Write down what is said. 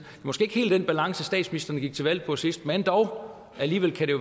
måske ikke helt den balance statsministeren gik til valg på sidst men dog alligevel